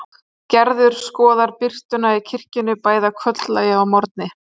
Gerður skoðar birtuna í kirkjunni, bæði að kvöldlagi og að morgni.